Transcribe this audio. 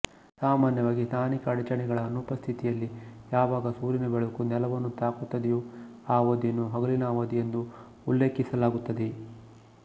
ಸಾಮಾನ್ಯವಾಗಿ ಸ್ಥಾನಿಕ ಅಡಚಣೆಗಳ ಅನುಪಸ್ಥಿತಿಯಲ್ಲಿ ಯಾವಾಗ ಸೂರ್ಯನ ಬೆಳಕು ನೆಲವನ್ನು ತಾಕುತ್ತದೆಯೋ ಆ ಅವಧಿಯನ್ನು ಹಗಲಿನ ಅವಧಿ ಎಂದು ಉಲ್ಲೇಖಿಸಲಾಗುತ್ತದೆ